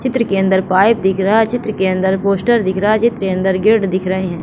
चित्र के अंदर पाइप दिख रहा है चित्र के अंदर पोस्टर दिख रहा है चित्र के अंदर गेट दिख रहे है।